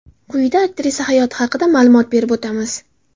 Quyida aktrisa hayoti haqida ma’lumot berib o‘tamiz.